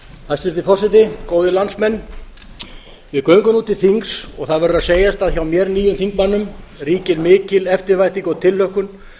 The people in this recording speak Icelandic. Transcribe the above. hæstvirtur forseti góðir landsmenn við göngum nú til þings og það verður að segjast að hjá mér nýjum þingmanninum ríkir mikil eftirvænting og tilhlökkun